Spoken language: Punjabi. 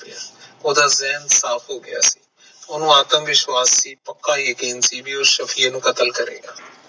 ਓਹਦਾ ਜਿਹਨ ਸਾਫ ਹੋ ਗਯਾ ਓਹਨੂੰ ਆਤਮ ਵਿਸ਼ਵਾਸ ਸੀ ਪਕਾ ਯਕੀਨ ਸੀ ਵੀ ਉਹ ਸਾਫ਼ੀਏ ਨੂੰ ਕਤਲ ਕਰੇਗਾ